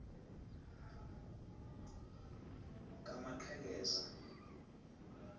kamaqhekeza